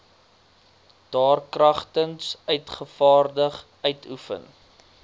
daarkragtens uitgevaardig uitoefen